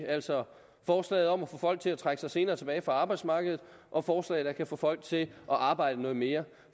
altså forslaget om at få folk til at trække sig senere tilbage fra arbejdsmarkedet og forslag der kan få folk til at arbejde noget mere